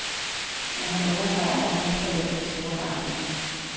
Men han understreger, at han ikke forventer de store forandringer.